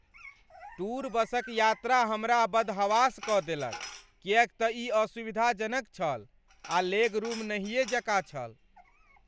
Tour बसक यात्रा हमरा बदहवास कऽ देलक किएक तँ ई असुविधाजनक छल आ लेगरूम नहियेँ जेकाँ छल।